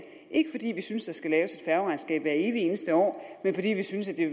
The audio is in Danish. ikke fordi vi synes der skal laves et færgeregnskab hvert evig eneste år men fordi vi synes at